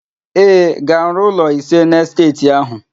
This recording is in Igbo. Ee, ga-arụ ụlọ ise n'esteeti áhụ̀.